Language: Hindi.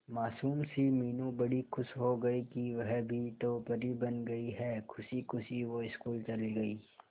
मासूम सी मीनू बड़ी खुश हो गई कि वह भी तो परी बन गई है खुशी खुशी वो स्कूल चली गई